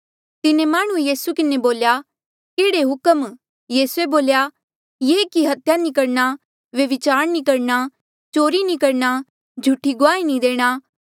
तिन्हें माह्णुंऐ यीसू किन्हें बोल्या केहड़े हुक्म यीसूए बोल्या ये कि हत्या नी करणा व्यभिचार न करणा चोरी नी करणा झूठी गुआही नी देणा